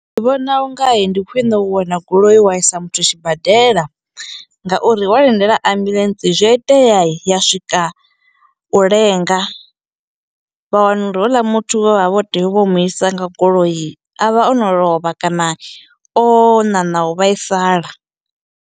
Ndi vhona ungai ndi khwiṋe u wana goloi wa isa muthu a tshibadela ngauri wa lindela ambulance zwi a iteai ya swika u lenga vha wana uri houḽa muthu we vha vha vho tea u vho mu isa nga goloi avha ono lovha kana o ṋaṋa u vhaisala.